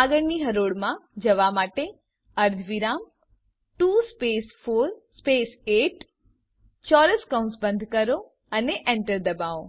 આગળની હરોળમાં જવા માટે અર્ધવિરામ 2 સ્પેસ 4 સ્પેસ 8 ચોરસ કૌંસ બંધ કરો અને enter દબાવો